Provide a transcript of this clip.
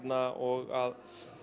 og